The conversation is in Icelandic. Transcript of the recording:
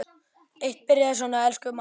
Eitt byrjaði svona: Elsku mamma!